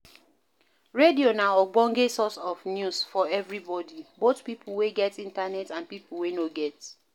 Radio na ogbonge source of news for everybody, both pipo wey get internet and pipo wey no get